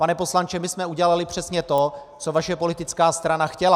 Pane poslanče, my jsme udělali přesně to, co vaše politická strana chtěla.